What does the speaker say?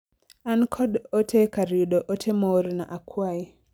an kod ote e kar yudo ote moorna akwayi